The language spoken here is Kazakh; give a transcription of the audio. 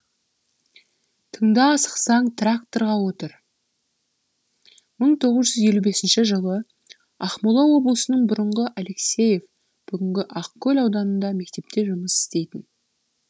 тыңда асықсаң тракторға отыр мың тоғыз жүз елу бесінші жылы ақмола облысының бұрынғы алексеев бүгінгі ақкөл ауданында мектепте жұмыс істейтін